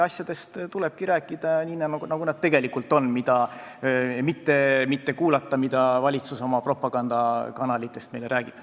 Asjadest tulebki rääkida nii, nagu nad tegelikult on, mitte kuulata, mida valitsus oma propagandakanalites meile räägib.